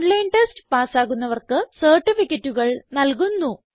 online test പാസ്സാകുന്നവർക്ക് സർട്ടിഫികറ്റുകൾ നല്കുന്നു